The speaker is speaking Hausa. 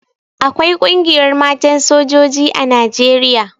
Akwai Ƙungiyar Matan Sojoji a Nijeriya.